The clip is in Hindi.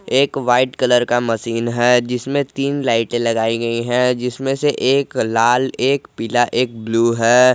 एक व्हाइट कलर का मशीन है जिसमें तीन लाइटें लगाई गई है जिसमें से एक लाल एक पीला एक ब्लू है।